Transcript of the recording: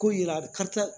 Ko yira karisa